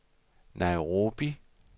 Nairobi